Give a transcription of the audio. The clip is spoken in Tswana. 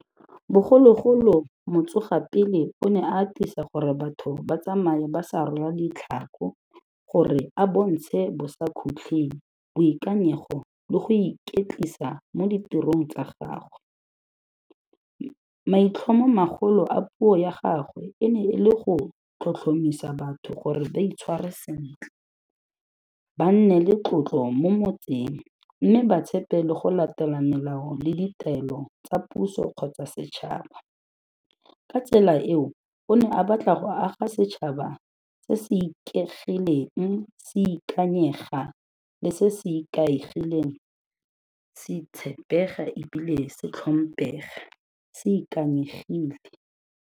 Bogologolo motsogapele o ne atisa gore batho ba tsamaye ba sa rwala ditlhako gore a bontshe bosakhutling, boikanyego le go iketlisa mo ditirong tsa gagwe. Maitlhomomagolo a puo ya gagwe, e ne e le go tlhotlhomisa batho gore ba itshware sentle, ba nne le tlotlo mo motseng mme ba tshepe le go latela melao le ditaelo tsa puso kgotsa setšhaba. Ka tsela eo, o ne a batla go aga setšhaba se se ikegileng se ikanyega le se se ikaegileng se tshepega e bile se tlhompepega se ikanyegile.